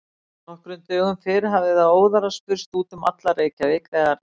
Nokkrum dögum fyrr hafði það óðara spurst út um alla Reykjavík, þegar